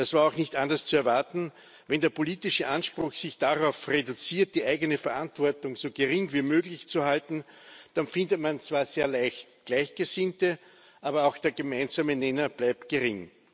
Das war auch nicht anders zu erwarten, wenn der politische Anspruch sich darauf reduziert, die eigene Verantwortung so gering wie möglich zu halten. Dann findet man zwar sehr leicht Gleichgesinnte, aber auch der gemeinsame Nenner bleibt gering.